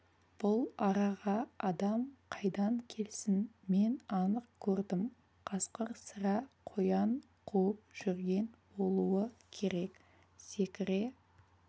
бұл араға адам қайдан келсін мен анық көрдім қасқыр сірә қоян қуып жүрген болуы керек секіре